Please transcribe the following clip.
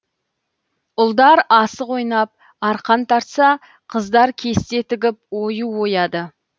ұлдар асық ойнап арқан тартса қыздар кесте тігіп ою ояды